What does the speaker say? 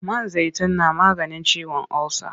Man zaitun na maganin ciwon ulsa.